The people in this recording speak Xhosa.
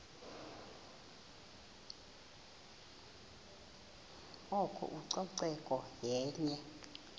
oko ucoceko yenye